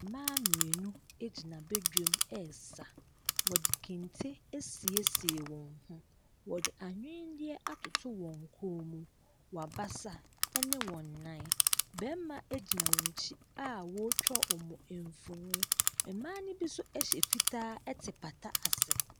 Mmaa mmienu gyina badwam resa. Wɔde kente asiesie wɔn ho. Wɔde anwenneɛ atoto wɔn kɔn mu, wɔn abasa ne wɔn nan. Barima gyina wɔn akyi a ɔretwa wɔn mfonin. Mmaa no bi nso hyɛ fitaa te pata ase.